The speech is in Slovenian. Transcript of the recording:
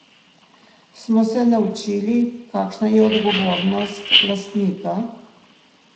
Smo se naučili, kakšna je odgovornost lastnika?